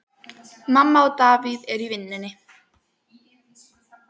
Mamma og Davíð eru í vinnunni.